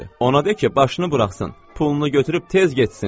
Ona de ki, başını buraxsın, pulunu götürüb tez getsin.